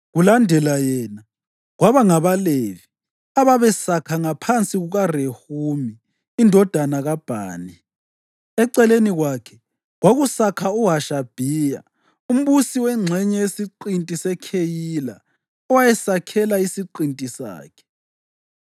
Kulandela yena, kwaba ngabaLevi ababesakha ngaphansi kukaRehumi indodana kaBhani. Eceleni kwakhe, kwakusakha uHashabhiya, umbusi wengxenye yesiqinti seKheyila, owayesakhela isiqinti sakhe.